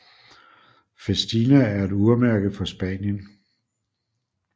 Festina er et urmærke fra Spanien